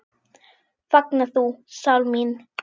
Fagna þú, sál mín.